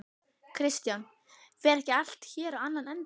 Kristján: Fer ekki allt hér á annan endann?